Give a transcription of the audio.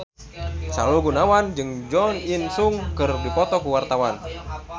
Sahrul Gunawan jeung Jo In Sung keur dipoto ku wartawan